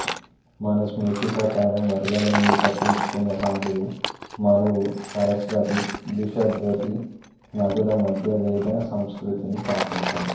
మను స్మృతి ప్రకారం వరదల నుండి తప్పించుకున్న సాధువు మనువు సరస్వతి దృషద్వతి నదుల మధ్య వేద సంస్కృతిని స్థాపించాడు